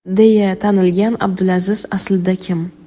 deya tanilgan Abdulaziz aslida kim?.